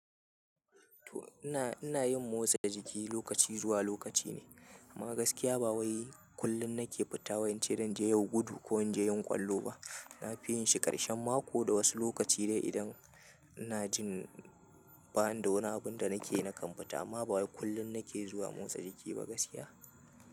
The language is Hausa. To ina, ina yin motsa jiki lokaci zuwa lokaci ne. Amma gaskiya ba wai kullum na ke fita wai ince zanje yau gudu ko in je yin ƙwallo ba. Na fi yin shi ƙarshen mako da wasu lokaci dai idan ina jin banida wani abin da na ke na kan fita. Amma ba kullum na ke zuwa motsa jiki ba gaskiya.